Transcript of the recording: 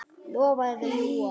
Lofa eða ljúga?